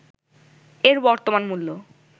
এর বর্তমান মূল্য